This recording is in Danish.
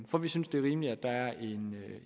for vi synes det er rimeligt at der er en